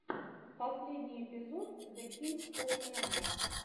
последний эпизод зе кинг оф рэндом